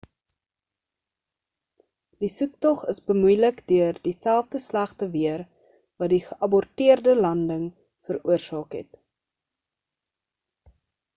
die soektog is bemoeilik deur dieselfde slegte weer wat die geaborteerde landing veroorsaak het